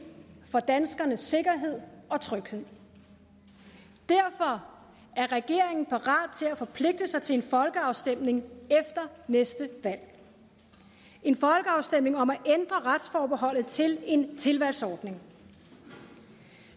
for danskernes sikkerhed og tryghed derfor er regeringen parat til at forpligte sig til en folkeafstemning efter næste valg en folkeafstemning om at ændre retsforbeholdet til en tilvalgsordning